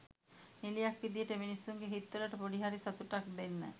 නිළියක් විදියට මිනිස්සුන්ගේ හිත්වලට ‍පොඩි හරි සතුටක් දෙන්න.